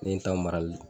Ne ye n ta marali